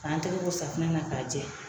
Kan tɛgɛ ko safunɛ na k'a jɛ.